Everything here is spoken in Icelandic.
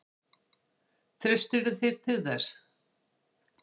Treystirðu þér til þess?